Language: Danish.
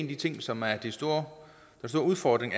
de ting som er en stor udfordring